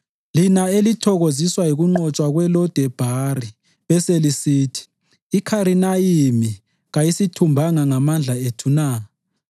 lina elithokoziswa yikunqotshwa kweLo-Debhari beselisithi, “IKharinayimi kasiyithumbanga ngamandla ethu na?”